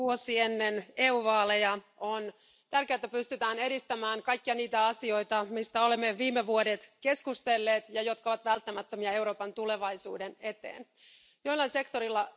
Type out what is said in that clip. Vuosi ennen EU vaaleja on tärkeää, että pystytään edistämään kaikkia niitä asioita, joista olemme viime vuodet keskustelleet ja jotka ovat välttämättömiä Euroopan tulevaisuuden kannalta.